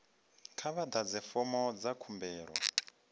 kha vha ḓadze fomo dza khumbelo